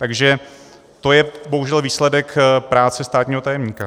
Takže to je bohužel výsledek práce státního tajemníka.